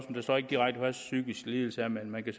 så ikke direkte hvad en psykisk lidelse er man kan